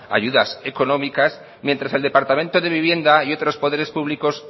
ayudas económicas mientras el departamento de vivienda y otros poderes públicos